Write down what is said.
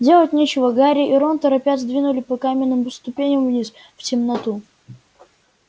делать нечего гарри и рон торопясь двинули по каменным ступеням вниз в темноту